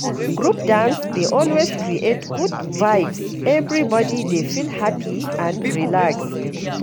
Group dance dey always create good vibes, everybody dey feel happy and relaxed.